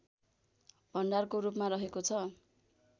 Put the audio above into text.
भण्डारको रूपमा रहेको छ